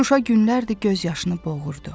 Şuşa günlərdir gözyaşını boğurdu.